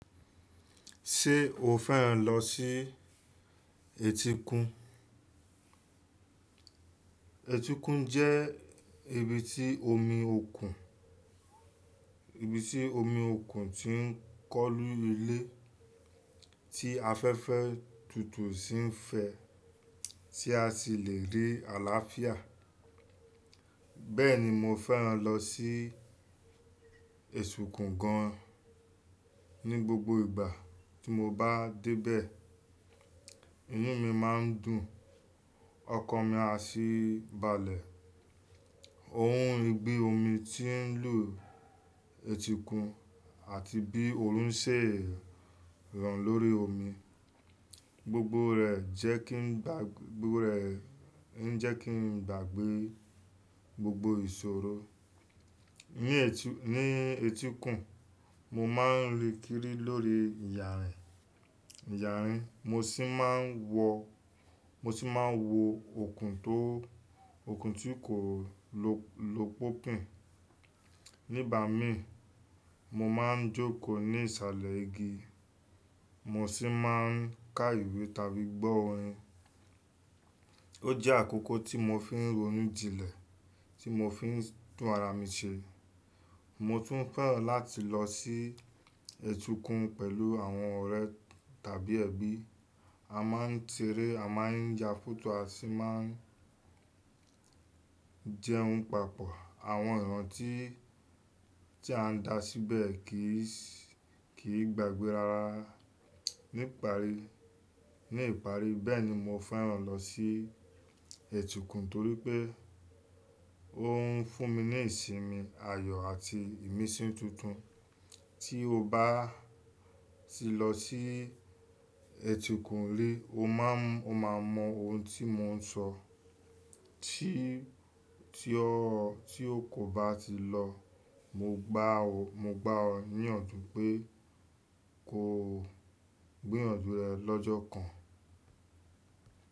Ṣé o fẹ́ràn lọ sí etíkun? Etíkun jẹ́ ibi tí omi òkun, ibi tí omi òkun ti ń kọ́lù ilẹ̀, tí afẹ́fẹ́ tútù sì ń fẹ́, tí a sì le rí àlàáfíà. Bẹ́ẹ̀ni mo fẹ́ràn lọ sí etíkun gan an. Ni gbogbo ìgbà tí mo bá de bẹ̀, inu mi máa ń dùn, ọkàn mi á sì balẹ̀. Òhun ìgbí omi tí ń lù etíkun àti bí oòrùn ṣe ń ràn lórí omi, gbogbo rẹ̀ jẹ́ kí n gbàgbé gbogbo ìṣòro. Ni etíkun, mo máa ń rìn kiri lórí ìyànrín, mo sì máa ń wọ òkun tí kò lopin. Nígbà mi, mo máa ń jókòó ní ìsàlẹ̀ igi, mo sì máa ń ka ìwé tàbí gbọ́ orin. Ó jẹ́ àkókò tí mo fi ń ronú jinlẹ̀, tí mo fi ń tùn ara mi ṣe. Mo tún fẹ́ràn láti lọ sí etíkun pẹ̀lú àwọn ọ̀rẹ́ tàbí ẹbí. A máa ń ṣeré, a máa ń ya fótò, a sì máa ń jẹun papọ. Àwọn ìran tí a dá síbẹ̀ kì í gbàgbé rara ní ìparí. Bẹ́ẹ̀ni mo fẹ́ràn lọ sí etíkun torí pé ó ń fún mi ní ìsinmi, ayọ̀ àti ìmísí tuntun. Tí o bá ti lọ sí etíkun rí, o máa mọ ohun tí mo ń sọ. Tí o kò bá ti lọ, mo gbá ọ níyànjú pé ko gbiyànjú rẹ̀ lọ́jọ́ kan.